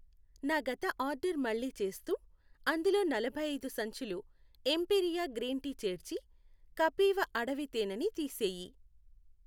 నా గత ఆర్డర్ మళ్ళీ చేస్తూ అందులో నలభై ఐదు సంచులు ఎంపీరియా గ్రీన్ టీ చేర్చి కపీవ అడవి తేనె ని తీసేయి.